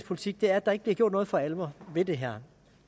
politik at der ikke bliver gjort noget for alvor ved det her